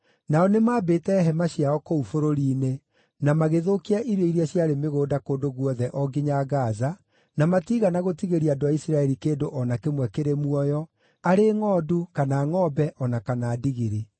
Nao nĩmambĩte hema ciao kũu bũrũri-inĩ, na magĩthũkia irio iria ciarĩ mĩgũnda kũndũ guothe o nginya Gaza, na matiigana gũtigĩria andũ a Isiraeli kĩndũ o na kĩmwe kĩrĩ muoyo, arĩ ngʼondu kana ngʼombe, o na kana ndigiri.